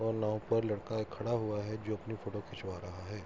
और नाव पर लड़का एक खड़ा हुआ है जो अपनी फोटो खिचवा रहा है।